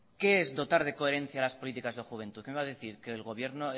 qué es dotar de coherencia las políticas de juventud que me va a decir que del gobierno